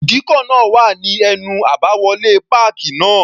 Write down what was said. Ìdíkọ̀ náà wà ní ẹnu àbáwọlé páàkì náà.